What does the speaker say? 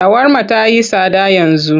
Shawarma ta yi tsada yanzu.